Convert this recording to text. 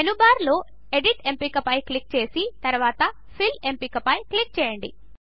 మెనూబార్లో edit ఎంపిక పై click చేసి తరువాత ఫిల్ ఎంపిక పై క్లిక్ చేయండి